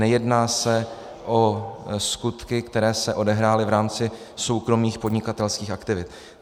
Nejedná se o skutky, které se odehrály v rámci soukromých podnikatelských aktivit.